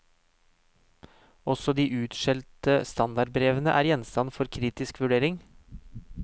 Også de utskjelte standardbrevene er gjenstand for kritisk vurdering.